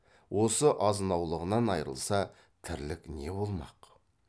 осы азынаулағынан айрылса тірлік не болмақ